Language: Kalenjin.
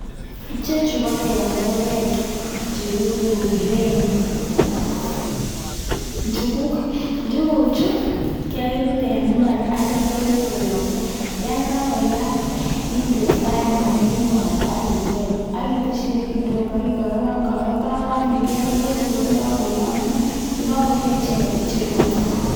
Ichechu ko tenderek chekikuren njukuk, njukuchu kebute en imbar akityo kinde koyomso, yoon kakoyam indee frying ban ak inde mwaita ak ibel ak iteshi beek kidogo ak ikorokan ikerker tor kokokoyomnyo, yekokoruryo icheket icheru ak kiam.